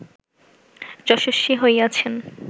যশস্বী হইয়াছেন